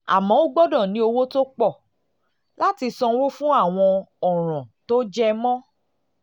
àmọ́ o gbọ́dọ̀ ní owó tó pọ̀ tó láti sanwó fún àwọn ọ̀ràn tó jẹ mọ́